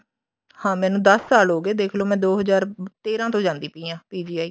ਹਾਂ ਮੈਨੂੰ ਦਸ ਸਾਲ ਹੋਗੇ ਦੇਖਲੋ ਮੈਂ ਦੋ ਹਜ਼ਾਰ ਤੇਰਾਂ ਤੋਂ ਜਾਂਦੀ ਪਈ ਹਾਂ PGI